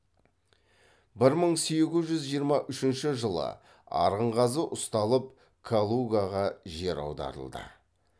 бір мың сегіз жүз жиырма үшінші жылы арынғазы ұсталып калугаға жер аударылды